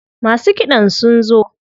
Masu kiɗan sun zo.